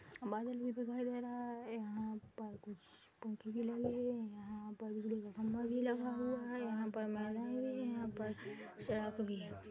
बादल भी दिखाई दे रहा है यहां पर कुछ पौधे भी लगे है यहां पर बिजली का खम्बा भी लगा हुआ है यहाँ पर यहां पर शराब भी है।